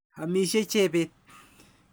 Amisyei Chebet.